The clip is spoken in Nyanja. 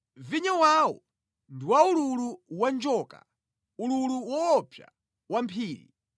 Vinyo wawo ndi wa ululu wa njoka, ululu woopsa wa mphiri.